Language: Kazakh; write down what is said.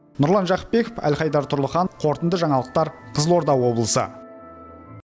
нұрлан жақыпбеков әлхайдар тұрлыханов қорытынды жаңалықтар қызылорда облысы